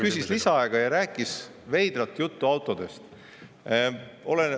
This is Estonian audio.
Küsis lisaaega ja rääkis veidrat juttu autodest.